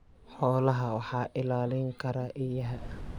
Xoolaha waxaa ilaalin kara eeyaha.